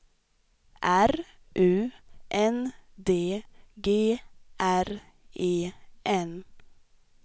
R U N D G R E N